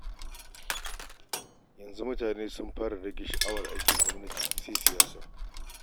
Yanzu mutane sun fara rage sha'awar aikin gwamnati sai siyasa.